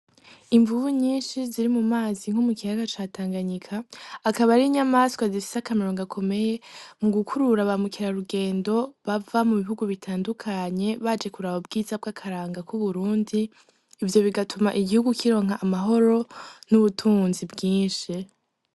Imvubu nyinshi ziri mu mazi yo mu kiyaga ca Tanganyika, akaba ari inyamaswa zifise akamaro gakomeye mu gukurura ba mukerarugendo bava mu bihugu bitandukanye baje kuraba ubwiza bw'akaranga k'Uburundi, ivyo bigatuma igihugu kironka amahoro n'ubutunzi bwinshi.